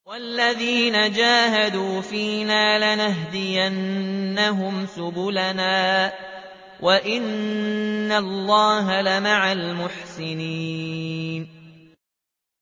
وَالَّذِينَ جَاهَدُوا فِينَا لَنَهْدِيَنَّهُمْ سُبُلَنَا ۚ وَإِنَّ اللَّهَ لَمَعَ الْمُحْسِنِينَ